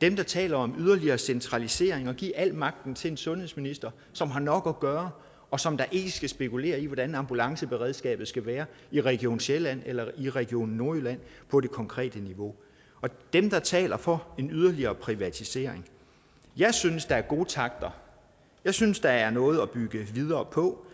dem der taler om yderligere centralisering og at give al magten til en sundhedsminister som har nok at gøre og som da ikke skal spekulere i hvordan ambulanceberedskabet skal være i region sjælland eller i region nordjylland på det konkrete niveau og dem der taler for en yderligere privatisering jeg synes der er gode takter jeg synes der er noget at bygge videre på